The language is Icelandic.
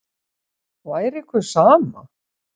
Væri ykkur sama?